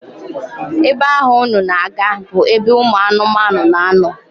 Ebe ahụ unu na-aga bụ ebe ụmụ anụmanụ na-anọ